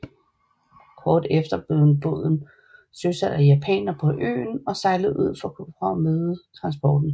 Kort efter blev en båden søsat af japanere på øen og sejlede ud for at møde transporten